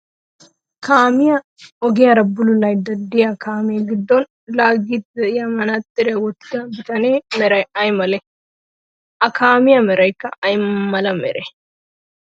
Kaamiya ogiyaara bululayidda diya kaamee giddon laaggiiddi diya manaaxxiriya wottida bitaniya meray ayi malee? A kaamee merayikka ayi mala meree?